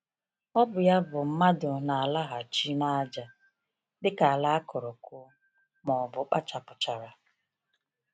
Ọ bụ ya bụ, mmadụ na-alaghachi ‘n’ájá,’ dịka ala a kụrụ kụọ, ma ọ bụ kpachapụchara.